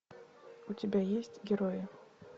у тебя есть герои